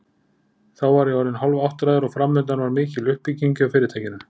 Þá var ég orðinn hálfáttræður og framundan var mikil uppbygging hjá fyrirtækinu.